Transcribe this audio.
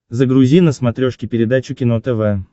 загрузи на смотрешке передачу кино тв